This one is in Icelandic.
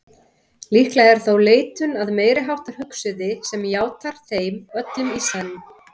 Líklega er þó leitun að meiriháttar hugsuði sem játar þeim öllum í senn.